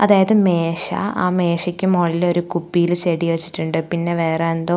അതായത് മേശ ആ മേശയ്ക്ക് മുകളില് ഒരു കുപ്പിയില് ചെടി വച്ചിട്ടുണ്ട് പിന്നെ വേറെ എന്തോ--